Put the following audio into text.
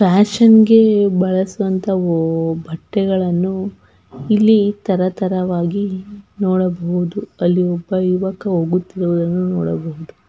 fashion ಗೆ ಬಳಸುವಂತ ಬಟ್ಟೆಗಳನ್ನು ಇಲ್ಲಿ ತರ ತರವಾಗಿ ನೋಡಬಹುದು.ಅಲ್ಲಿ ಒಬ್ಬ ಯುವಕ ಹೋಗುತ್ತಿರುವುದನ್ನ ನೋಡಬಹುದು --